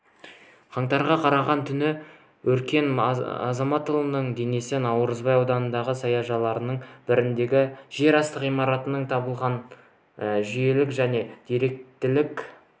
қаңтарға қараған түні өркен азаматұлының денесі наурызбай ауданындағы саяжайлардың біріндегі жерасты ғимаратынан табылған жүйелілік және деректілік